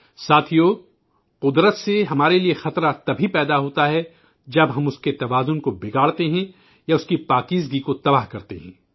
ساتھیو، قدرت ہمارے لیے خطرہ اسی وقت پیدا ہوتا ہے جب ہم اس کا توازن بگاڑ تے ہیں یا اس کے تقدست کو تباہ کرتے ہیں